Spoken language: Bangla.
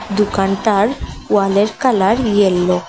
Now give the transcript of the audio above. দোকানটার ওয়ালের কালার ইয়েল্লো ।